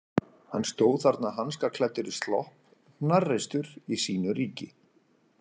Hann stóð þarna hanskaklæddur í slopp, hnarreistur í sínu ríki.